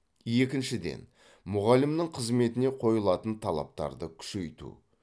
екіншіден мұғалімнің қызметіне қойылатын талаптарды күшейту